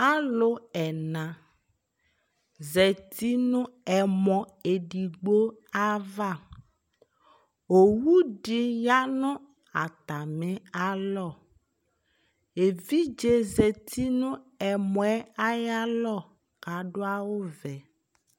alò ɛna zati no ɛmɔ edigbo ava owu di ya no atami alɔ evidze zati no ɛmɔ yɛ ayi alɔ k'adu awu vɛ